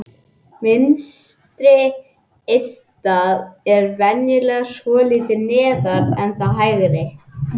Vinstra eistað er venjulega svolítið neðar en það hægra.